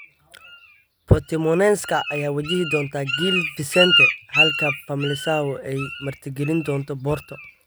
Portimonenska ayaa wajihi doonta Gil Vicente halka Famalicao ay martigelin doonto Porto.